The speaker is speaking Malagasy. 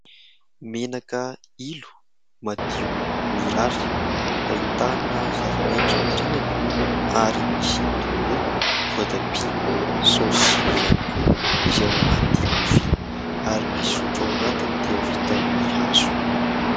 Menaka ilo madio mirary, ahitana zavamaitso aorinany ary misy tongolo, voatabia saosy ihany koa izay ao anaty lovia ary ny sotro ao anatiny dia vita amin'ny hazo.